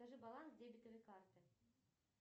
скажи баланс дебетовой карты